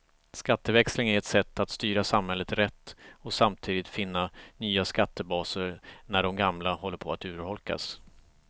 Skatteväxling är ett sätt att styra samhället rätt och samtidigt finna nya skattebaser när de gamla håller på att urholkas.